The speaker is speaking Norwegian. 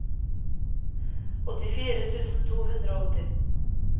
åttifire tusen to hundre og åtti